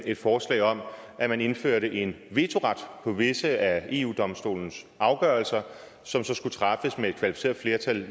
et forslag om at man indførte en vetoret på visse af eu domstolens afgørelser som så skulle træffes med et kvalificeret flertal